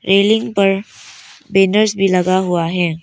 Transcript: Railing पर banners भी लगा हुआ है।